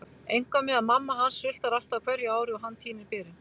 Eitthvað með að mamma hans sultar alltaf á hverju ári og hann tínir berin.